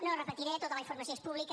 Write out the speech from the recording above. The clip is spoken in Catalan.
no repetiré tota la informació és pública